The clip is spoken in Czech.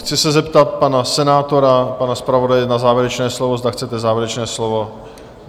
Chci se zeptat pana senátora, pana zpravodaje na závěrečné slovo, zda chcete závěrečné slovo?